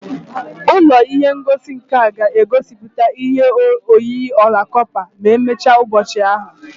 Ụlọ ihe ngosi nka ga-egosipụta ihe oyiyi ọla kọpa ma emechaa n'ụbọchị ahụ